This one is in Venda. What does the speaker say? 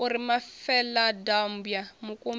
u ri mafeladambwa mukumbi u